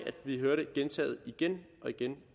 vi hører det gentaget igen og igen